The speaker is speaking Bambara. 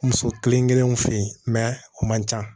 Muso kelen kelenw fe yen o man ca